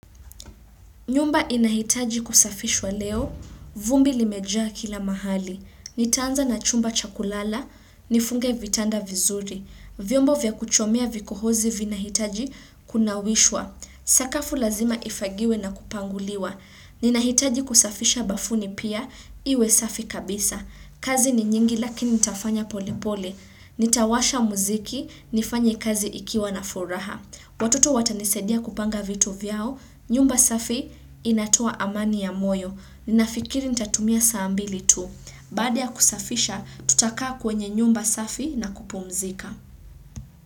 Nyumba inahitaji kusafishwa leo, vumbi limejaa kila mahali. Nitaanza na chumba cha kulala, nifunge vitanda vizuri. Vyombo vya kuchomea vikohozi vinahitaji kunawishwa. Sakafu lazima ifagiwe na kupanguliwa. Ninahitaji kusafisha bafuni pia, iwe safi kabisa. Kazi ni nyingi lakini nitafanya pole pole. Nitawasha muziki, nifanye kazi ikiwa na furaha. Watoto watanisadia kupanga vitu vyao. Nyumba safi inatoa amani ya moyo. Ninafikiri nitatumia saa mbili tu. Baada ya kusafisha, tutakaa kwenye nyumba safi na kupumzika.